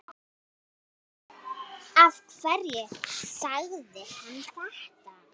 Af hverju sagði hann þetta?